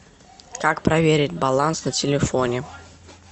как проверить баланс на телефоне